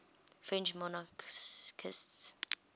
french monarchists